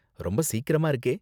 ரொம்ப சீக்கிரமா இருக்கே!